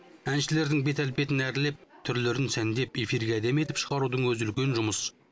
әншілердің бет әлпетін әрлеп түрлерін сәндеп эфирге әдемі етіп шығарудың өзі үлкен жұмыс